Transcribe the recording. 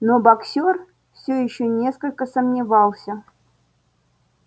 но боксёр всё ещё несколько сомневался